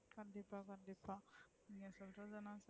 என்ன சொல்றது,